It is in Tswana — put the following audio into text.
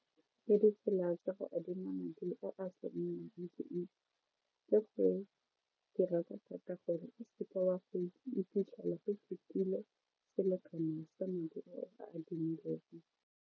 Ditsela tsa go adima madi a a le go dira ka thata gore o se ka wa iphitlhela o fetile selekano sa madi a o a adimileng.